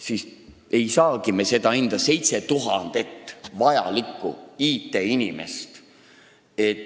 Nii me ei saagi endale 7000 vajalikku IT-inimest.